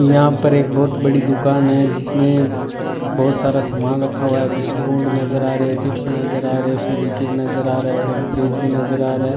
यहां पर एक बहुत बड़ी दुकान है जिसमें बहोत सारा सामान रखा हुआ है बिस्कुट नजर आ रही है चिप्स नजर आ रहे है फेवी क्विक नजर आ रहे है और एक फ्रिज भी नजर आ रहा है।